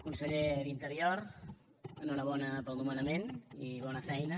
conseller d’interior enhorabona pel nomenament i bona feina